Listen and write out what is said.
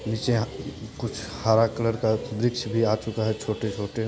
नीचे कुछ हरा कलर का वृक्ष भी आ चूका है छोटे-छोटे----